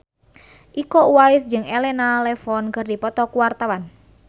Iko Uwais jeung Elena Levon keur dipoto ku wartawan